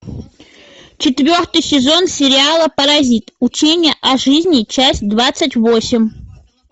четвертый сезон сериала паразит учение о жизни часть двадцать восемь